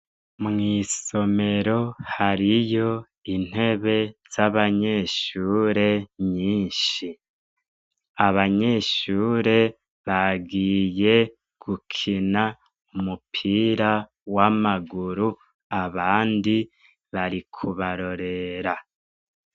Mw'isomero hariyo intebe z'abanyeshure nyinshi . Abanyeshure bagiye gukina umupira w'amaguru abandi bari kubarorera .